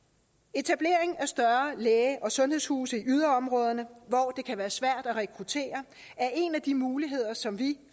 etablering af større læge og sundhedshuse i yderområderne hvor det kan være svært at rekruttere er en af de muligheder som vi